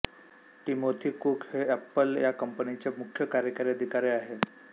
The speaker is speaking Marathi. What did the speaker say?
टिमोथी कूक हे एपल या कंपनी चे मुख्य कार्यकारी अधिकारी आहेत